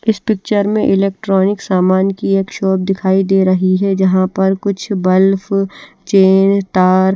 इस पिचर में इलेक्ट्रोनिक सामान की एक शॉप दिखाई दे रही हे जहा पर कुछ बल्प चेयर तार--